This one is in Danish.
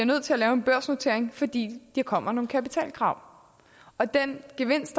nødt til at lave en børsnotering fordi der kommer nogle kapitalkrav og den gevinst